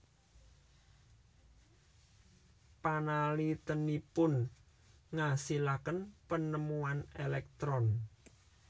Panaliténipun ngasilaken penemuan elektron